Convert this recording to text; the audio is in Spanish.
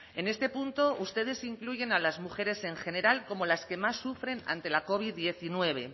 en este punto ustedes incluyen a las mujeres en general como las que más sufren ante la covid diecinueve